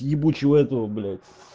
ебучего этого блять